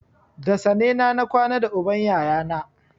Da sane na na kwana da uban ƴaƴana